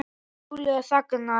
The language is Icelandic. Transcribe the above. Júlía þagnar.